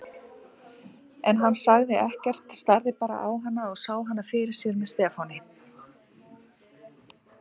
En hann sagði ekkert, starði bara á hana og sá hana fyrir sér með Stefáni.